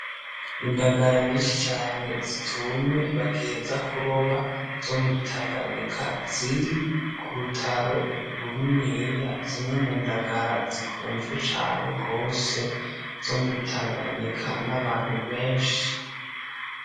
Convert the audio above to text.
Indagara nyinshi cane zitumye ,bagiheza kuroba zo muri tanganyika ,ziri kurutaro runiniya ,zimwe mundagara zikuzwe cane gose ,zo muri tanganyika n'abantu benshi.